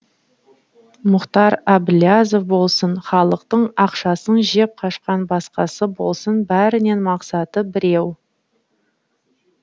мұхтар әбіләзов болсын халықтың ақшасын жеп қашқан басқасы болсын бәрінің мақсаты біреу